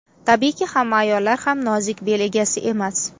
Tabiiyki, hamma ayollar ham nozik bel egasi emas.